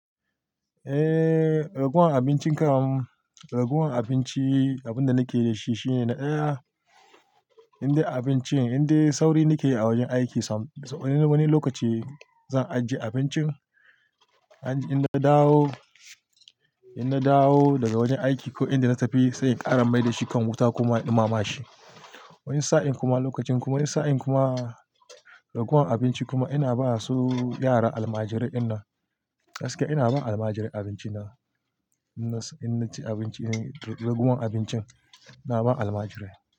Eh, raguwan abincin karen raguwan abinci abinda nake da shi shine na iya indai abincin inda sauri nake yi a wajen aiki. Wani, wani lokaci zan ajiye abincin, in na dawo, in na dawo daga wajen aiki ko inda na tafi sai in ƙarar mai da shi kan wuta kuma in ɗumama shi. Wani sa'in kuma lokacin kuma wani sa'in kuma raguwan abinci kuma ina ba su yara almajirai. Inda gaskiya ina ba almajirai abinci na, inda naci abinci raguwan abincin ina ba almajirai.